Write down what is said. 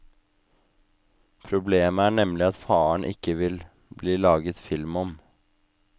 Problemet er nemlig at faren ikke vil bli laget film om.